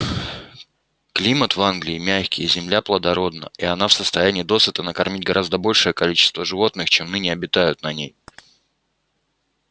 климат в англии мягкий земля плодородна и она в состоянии досыта накормить гораздо большее количество животных чем ныне обитают на ней